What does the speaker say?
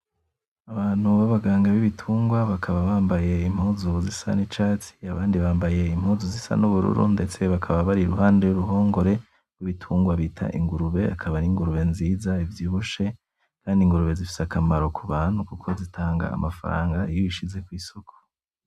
Abantu b'abaganga b'ibtungwa bakaba bambaye impuzu zisa n'icatsi abandi bambaye impuzu zisa n'ubururu ndetse bakaba bari iruhande y'uruhongore rw'ibitungwa bita ingurube akaba ari ingurube nziza ivyibushe kandi ingurube zifise akamaro ku bantu kuko zitanga amafaranga iyo uzishize ku isoko.